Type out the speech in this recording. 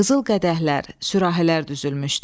Qızıl qədəhlər, sürahələr düzülmüşdü.